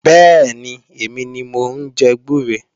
Bẹ́ẹ̀ni, èmi ni mò ń jẹ gbúre